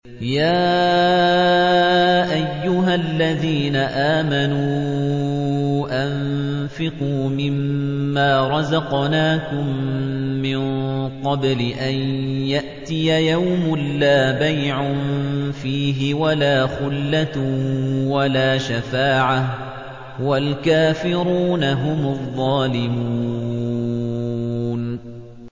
يَا أَيُّهَا الَّذِينَ آمَنُوا أَنفِقُوا مِمَّا رَزَقْنَاكُم مِّن قَبْلِ أَن يَأْتِيَ يَوْمٌ لَّا بَيْعٌ فِيهِ وَلَا خُلَّةٌ وَلَا شَفَاعَةٌ ۗ وَالْكَافِرُونَ هُمُ الظَّالِمُونَ